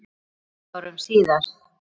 Meira en tuttugu árum síðar.